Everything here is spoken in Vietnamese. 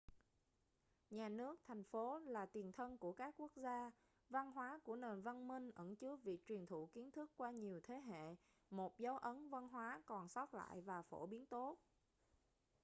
nhà nước thành phố là tiền thân của các quốc gia văn hóa của nền văn minh ẩn chứa việc truyền thụ kiến thức qua nhiều thế hệ một dấu ấn văn hóa còn sót lại và phổ biến tốt